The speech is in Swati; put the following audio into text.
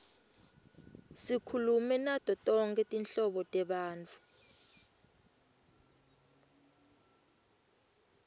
sikhulume nato tonkhe tinhlobo tebantfu